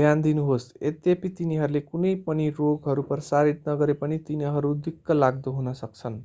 ध्यान दिनुहोस् यद्यपि तिनीहरूले कुनै पनि रोगहरू प्रसारित नगरे पनि तिनीहरू दिक्कलाग्दो हुन सक्छन्